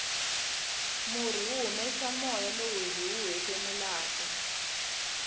murhi wu humesa moya lowu hiwu hefemulaka